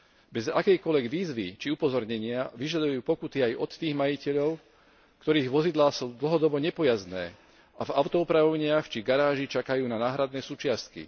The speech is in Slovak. Bez akejkoľvek výzvy či upozornenia vyžadujú pokuty aj od tých majiteľov, ktorých vozidlá sú dlhodobo nepojazdné a v autoopravovniach či v garáži čakajú na náhradné súčiastky.